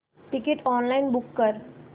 ticket online book कर